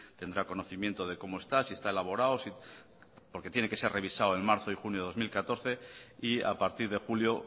tendrá conocimiento de cómo está si está elaborado porque tiene que ser revisado en marzo y junio de dos mil catorce y a partir de julio